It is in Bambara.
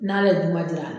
N'ale ye juman di a ma